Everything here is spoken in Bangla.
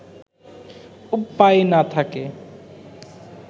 উপায় না-থাকে